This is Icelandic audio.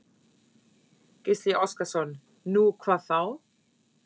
Gísli Óskarsson: Nú, hvað þá?